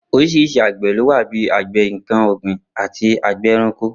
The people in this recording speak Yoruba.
Orís̩irís̩i àgbè̩ ló wà bí i àgbè̩ nǹkan ò̩gbìn àti àgbè̩ e̩ranko